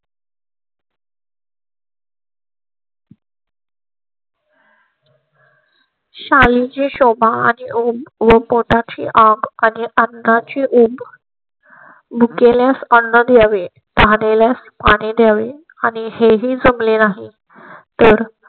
शालू ची शोभा आणि पोटा ची आग आणि अन्ना ची उब भुकेल्यास अण्णा द्यावे तहानलेल्यास पाणी द्यावे आणि हे ही जमले नाही तर